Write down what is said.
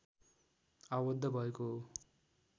आवद्ध भएको हो